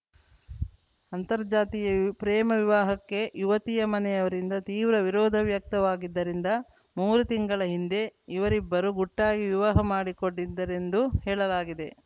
ಅಂತಾರ್ಜಾತೀಯ ಪ್ರೇಮ ವಿವಾಹಕ್ಕೆ ಯುವತಿಯ ಮನೆಯವರಿಂದ ತೀವ್ರ ವಿರೋಧ ವ್ಯಕ್ತವಾಗಿದ್ದರಿಂದ ಮೂರು ತಿಂಗಳ ಹಿಂದೆ ಇವರಿಬ್ಬರು ಗುಟ್ಟಾಗಿ ವಿವಾಹ ಮಾಡಿಕೊಂಡಿದ್ದರೆಂದು ಹೇಳಲಾಗಿದೆ